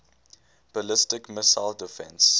ballistic missile defense